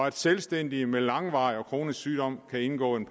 at selvstændige med langvarig og kronisk sygdom kan indgå en